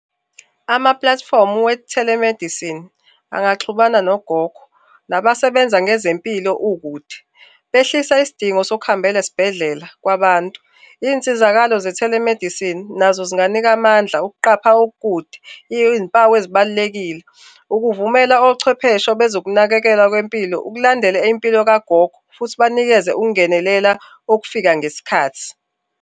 Amapulatifomu we-telemedicine angaxhumana nogogo nabasebenza ngezempilo ukude. Behlisa isidingo sokuhambela esibhedelela kwabantu. Iy'nsizakalo ze-telemedicine nazo zinganika amandla okuqhapha okukukde iy'mpawu ezibalulekile, ukuvumela ochwepheshe bezokunakekwelwa bempilo ukulandela impilo kagogo, futhi banikeze ukungenelela okufika ngesikhathi.